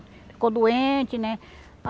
Ficou doente, né.